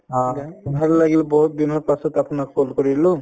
উম, ভাল লাগিল বহুত দিনৰ পাছত আপোনাক call কৰিলো